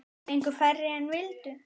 Fengu færri en vildu.